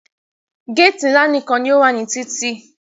Géèti ńlá nìkan ní o wà ní títì.